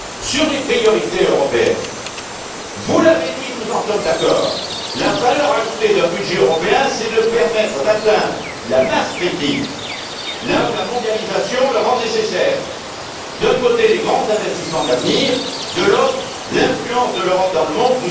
Sur les priorités européennes, vous l'avez dit, nous en sommes d'accord, la valeur ajoutée d'un budget européen, c'est de permettre d'atteindre la masse critique là où la mondialisation la rend nécessaire d'un côté les grands investissements d'avenir, de l'autre l'influence de l'Europe dans le monde.